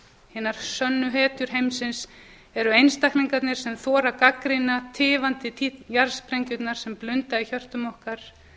hinar sönnu hetjur heimsins eru einstaklingarnir sem þora að gagnrýna tifandi jarðsprengjurnar sem blunda í hjörtum okkar